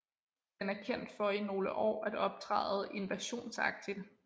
Den er kendt for i nogle år at optræde invasionsagtigt